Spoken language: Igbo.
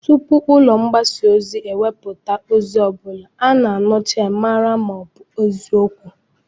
Tupu ụlọ mgbasa ozi ewepụta ozi ọ bụla, a na-aṅụcha ya, mara na ọ bụ eziokwu